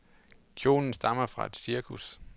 Kjolen stammer fra et cirkus.